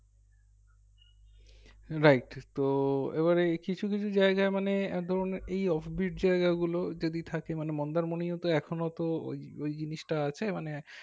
right তো এবারে কিছুকিছু জায়গায় মানে একধরণে এই জায়গাগুলো যদি থাকে মানে মন্দারমণীও তো এখনো ওই জিনিসটা আছে মানে